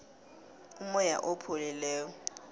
umoya opholileko